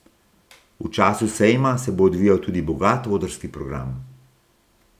V času sejma se bo odvijal tudi bogat odrski program.